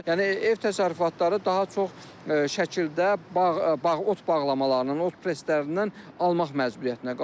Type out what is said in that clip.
Yəni ev təsərrüfatları daha çox şəkildə bağ, ot bağlamalarının, ot preslərindən almaq məcburiyyətinə qalırlar.